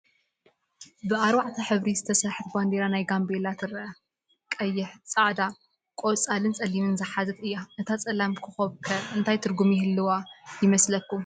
ብ4 ሕብሪ ዝተሰርሐት ባንዴራ ናይ ጋምቤላ ትረአ፡፡ ቀይሕ፣ ፃዕዳ፣ ቆፃልን ፀሊምን ዝሓዘት እያ፡፡ እታ ፀላም ኾኾብ ከ እንታይ ትርጉም ይህልዋ ይመስለኩም?